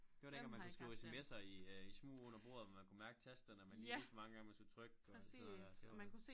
Det var dengang man kunne skrive SMS'er i øh i smug under bordet hvor man kunne mærke tasterne og man lige vidste hvor mange gange man skulle trykke og alt sådan noget der det var